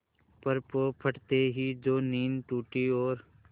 पर पौ फटते ही जो नींद टूटी और